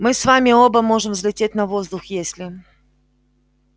мы с вами оба можем взлететь на воздух если